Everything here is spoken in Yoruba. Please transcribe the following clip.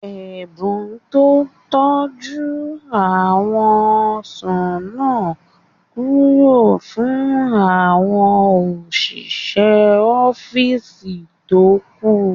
Ẹ̀bùn tọ́ jú àwọn ọsàn náà kúrò fún àwọn òṣìṣẹ́ ọ́físì tó kù